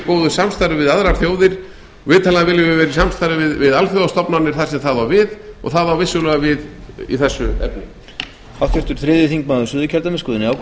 góðu samstarfi við aðrar þjóðir vitanlega viljum við vera í samstarfi við alþjóðastofnanir þar sem það á við og það á vissulega við í þessu efni